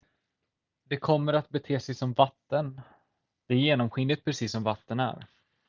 """det kommer att bete sig som vatten. det är genomskinligt precis som vatten är.